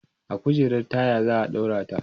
a kujerar taya zaa ɗaura ta